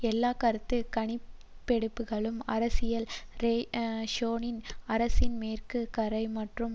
எல்லா கருத்து கணிப்பெடுப்புகளும் ஆரியல் ஷரோனின் அரசின் மேற்கு கரை மற்றும்